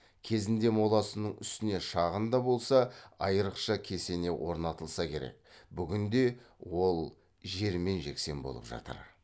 кезінде моласының үстіне шағын да болса айрықша кесене орнатылса керек бүгінде ол жермен жексен болып жатыр